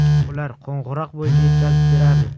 Ular qo‘ng‘iroq bo‘yicha yetkazib berardi.